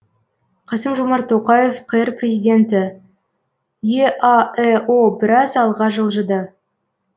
қасым жомарт тоқаев қазақстан республикасы президенті еаэо біраз алға жылжыды